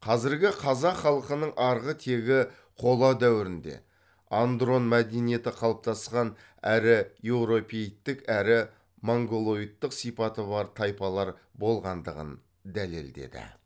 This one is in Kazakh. қазіргі қазақ халқының арғы тегі қола дәуірінде андрон мәдениеті қалыптасқан әрі еуропеидтік әрі монголоидтық сипаты бар тайпалар болғандығын дәлелдеді